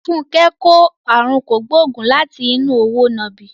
Funke kò àrùn kògbóògùn láti inú òwò nàbì.